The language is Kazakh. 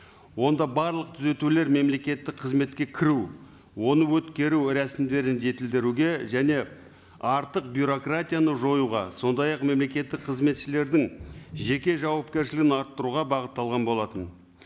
онда барлық түзетулер мемлекеттік қызметке кіру оны өткеру рәсімдерін жетілдіруге және артық бюрократияны жоюға сондай ақ мемлекеттік қызметшілердің жеке жауапкершілігін арттыруға бағытталған болатын